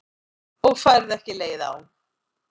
Og færð ekki leið á?